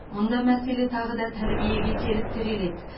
мұнда мәселе тағы да тәрбиеге келіп тіреледі